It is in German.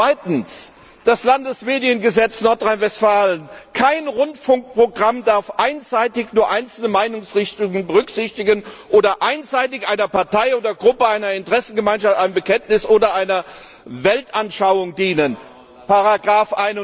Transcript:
Zweitens das Landesmediengesetz Nordrhein Westfalen Kein Rundfunkprogramm darf einseitig nur einzelne Meinungsrichtungen berücksichtigen oder einseitig einer Partei oder Gruppe einer Interessengemeinschaft, einem Bekenntnis oder einer Weltanschauung dienen Paragraph